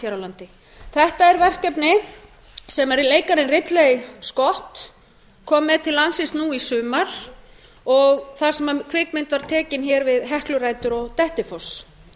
á landi þetta er verkefni sem leikarinn ridley scott kom með til landsins nú í sumar þar sem kvikmynd var tekin við heklurætur og dettifoss